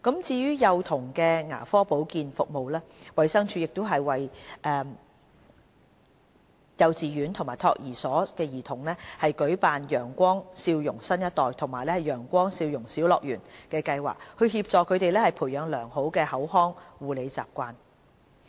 至於幼童的牙科保健服務，衞生署專為幼稚園及託兒所的兒童舉辦"陽光笑容新一代"和"陽光笑容小樂園"計劃，協助他們培養良好的口腔護理習慣。